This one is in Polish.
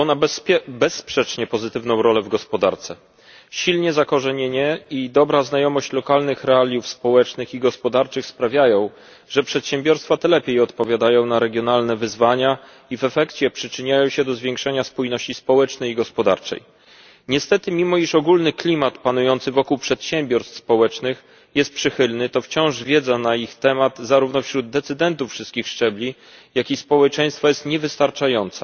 Panie Przewodniczący! Chciałbym zwrócić uwagę na przedsiębiorczość społeczną. Odgrywa ona bezsprzecznie pozytywną rolę w gospodarce. Silne zakorzenienie i dobra znajomość lokalnych realiów społecznych i gospodarczych sprawiają, że przedsiębiorstwa te lepiej odpowiadają na regionalne wyzwania i w efekcie przyczyniają się do zwiększenia spójności społecznej i gospodarczej. Niestety, mimo iż ogólny klimat panujący wokół przedsiębiorstw społecznych jest przychylny, to wciąż wiedza na ich temat zarówno wśród decydentów wszystkich szczebli, jak i społeczeństwa jest niewystarczająca.